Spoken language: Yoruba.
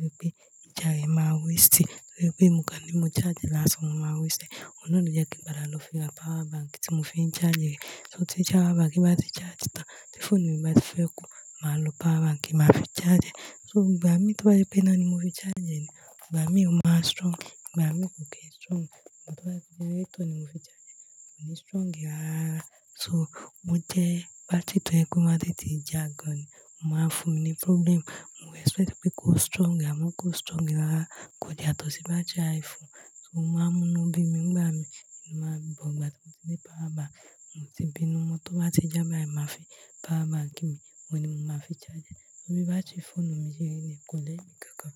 nítorí pé ìjà yẹn máa waste. Nítorí pé nǹkan ní mo charge lásán, mo máa waste. Òun náà ló jẹ́ kí mo padà lọ fi ra power bank tí mo fi ń charge rẹ̀. So tí charge power bank bá ti charge tán, tí phone mi bá ti fẹ́ kú, màá lo power bank máa fi charge rẹ̀. So ìgbà mi tó bá rí pé iná ni mo fi charge rẹ̀ ni, ìgbà mi ò máa strong. Ìgbà mi kò kì í strong. Ìgbà tó bá rí pé generator ni mo fi charge rẹ̀, kò ní strong rárá. So o jẹ́ battery tó jé pé ó máa n tètè já gan ni. Ó máa ń fún mi ní problem. Mo expect pé kó strong, àmọ́ kò strong rárá. Kò yàtò sí bá jẹ́ iPhone. So o máa ń mú inú bí mí ìgbà mi. Mo máa bọ̀ ìgbà tí mo ti ní power bank. Mo ti bínú, mo tó bá ti já báyìí, máa fi power bank mi, òun ni mo máa fi charge rẹ̀. Torí báttery foonu mi ṣe rí ni, kò ní èmi kankan.